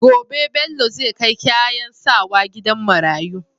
Gobe Bello zai kai kayan sawa gidan marayu